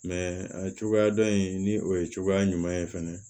a cogoya dɔn in ni o ye cogoya ɲuman ye fɛnɛ